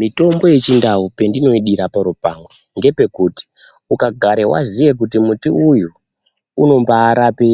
Mitombo yechindau pendinoidira paro pamwe, ngepekuti ukagare waziye kuti muti uyu unombaarape